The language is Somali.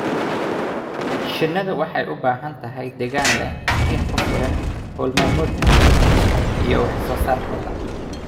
Shinnidu waxay u baahan tahay deegaan leh iftiin ku filan hawl maalmeedkooda iyo wax soo saarkooda.